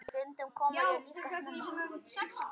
Stundum kom ég líka snemma.